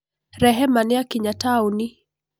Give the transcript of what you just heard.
Rehema nĩakinya taũni.